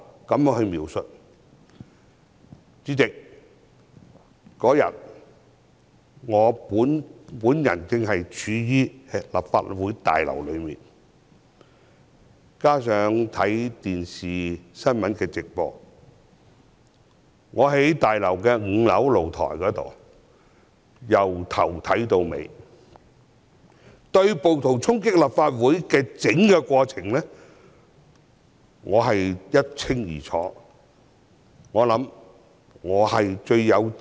主席，當天我身處立法會大樓，也有收看電視新聞直播，我在大樓5樓露台，對暴徒衝擊立法會的整個過程看得一清二楚。